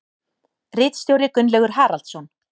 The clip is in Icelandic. Ritstjóri Gunnlaugur Haraldsson.